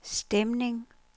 stemning